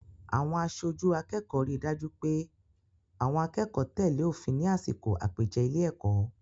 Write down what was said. Àwọn aṣojú akẹ́kọ̀ọ́ rí dájú pé àwọn akẹ́kọ̀ọ́ tẹ̀lé òfin ní àsìkò àpèjẹ ilé-èkọ́.